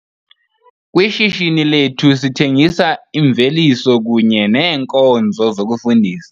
Kwishishini lethu sithengisa imveliso kunye neenkonzo zokufundisa.